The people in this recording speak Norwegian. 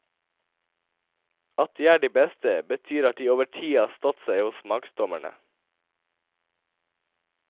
At de er de beste, betyr at de over tid har stått seg hos smaksdommerne.